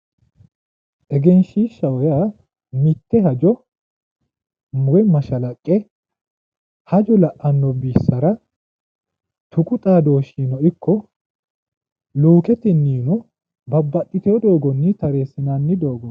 egenshiishshaho yaa mitte hajo woyi mashalaqqe hajo la'anno bissara tuqu xaadooshshinino ikko luuketenniino babbaxitino doogonni tareessinanni dogooti.